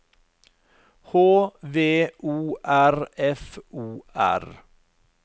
H V O R F O R